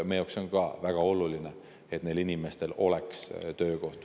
Meie jaoks on ka väga oluline, et neil inimestel oleks töö.